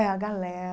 É, a